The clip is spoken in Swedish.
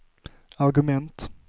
argument